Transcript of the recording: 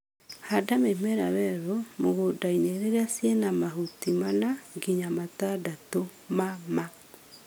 Handa mĩmera werũ mũgũndainĩ rĩrĩ ciĩna mahuti mana nginya matandatũ ma ma